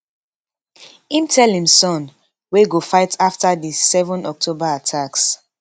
im tell im son wey go fight afta di 7 october attacks